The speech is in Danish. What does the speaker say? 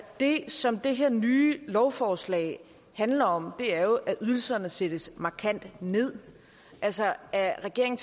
det som det her nye lovforslag handler om er jo at ydelserne sættes markant ned altså at regeringen